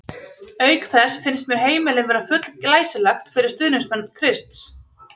Auk þess finnst mér heimilið vera full glæsilegt fyrir stuðningsmenn Krists.